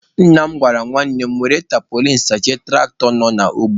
Nna m gwara nwanne m were tampolin sachie tụraktọ nọ n'ugbo.